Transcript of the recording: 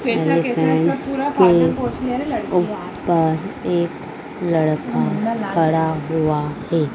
के ऊपर एक लड़का खड़ा हुआ है।